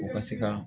U ka se ka